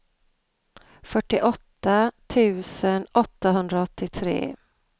fyrtioåtta tusen åttahundraåttiotre